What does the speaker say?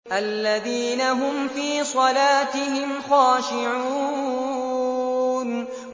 الَّذِينَ هُمْ فِي صَلَاتِهِمْ خَاشِعُونَ